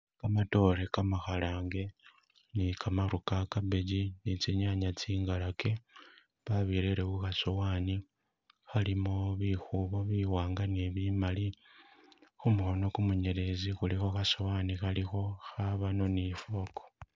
Kamatoore kama khalange ne kamaru ka cabbage ne tsinyanya tsingalake babirere khukhasowani khalimo bikhubo biwanga ne bimali khumukhono ku munyelezi khulikho khasowani khalikho, khabano ne ifoko